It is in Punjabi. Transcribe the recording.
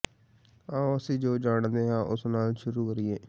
ਆਓ ਅਸੀਂ ਜੋ ਜਾਣਦੇ ਹਾਂ ਉਸ ਨਾਲ ਸ਼ੁਰੂ ਕਰੀਏ